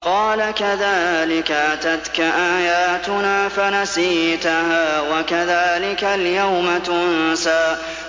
قَالَ كَذَٰلِكَ أَتَتْكَ آيَاتُنَا فَنَسِيتَهَا ۖ وَكَذَٰلِكَ الْيَوْمَ تُنسَىٰ